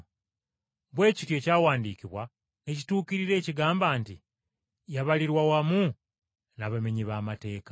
Bwe kityo Ekyawandiikibwa ne kituukirira ekigamba nti, “Yabalirwa wamu n’abamenyi b’amateeka.”